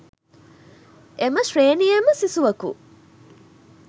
එම ශ්‍රේණියේම සිසුවකු